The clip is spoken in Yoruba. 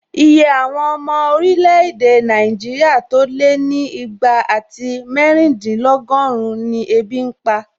Iye àwọn ọmọ orílẹ̀-èdè Nàìjíríà tó lé ní ìgbà àti méjìdínlọ́gọ́run ni ebi n pa